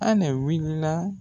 Anɛ wuli la.